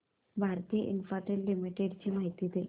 Bharti Infratel limited ची माहिती दे